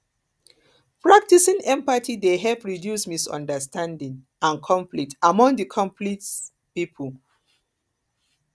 practicing empathy dey help reduce misunderstanding and conflict among and conflict among pipo